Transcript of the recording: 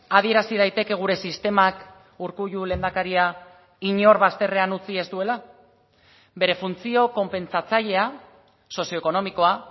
adierazi daiteke gure sistemak urkullu lehendakaria inor bazterrean utzi ez duela bere funtzio konpentsatzailea sozioekonomikoa